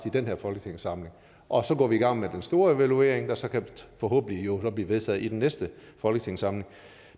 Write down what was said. i den her folketingssamling og så går vi i gang med den store evaluering der så forhåbentlig kan blive vedtaget i den næste folketingssamling